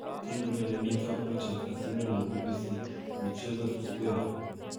King'olole Micah Richards ak sirindet nebo BBC Michezzo Chris Bevan